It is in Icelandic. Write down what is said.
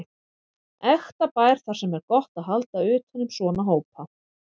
Ekta bær þar sem er gott að halda utan um svona hópa.